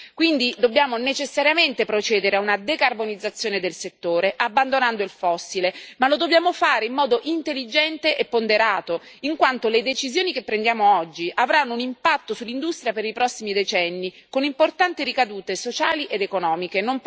Quindi, dobbiamo necessariamente procedere a una decarbonizzazione del settore, abbandonando il fossile, ma lo dobbiamo fare in modo intelligente e ponderato, in quanto le decisioni che prendiamo oggi avranno un impatto sull'industria per i prossimi decenni, con importanti ricadute sociali ed economiche.